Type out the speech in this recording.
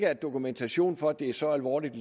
er dokumentation for at det er så alvorligt